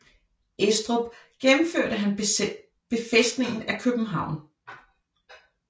Estrup gennemførte han befæstningen af København